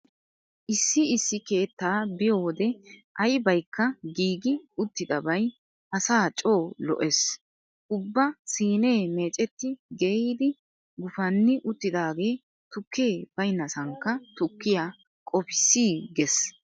Issi issi keettaa biyo wode aybaykka giigi uttidaabay asaa coo lo'ees. Ubba siinee meecetti geeyyidi gufanni uttidagee tukke baynnasankka tukkiya qofissiigges.